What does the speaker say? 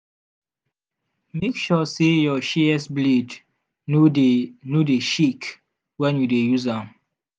make sure say your shears blade no dey no dey shake when you dey use am.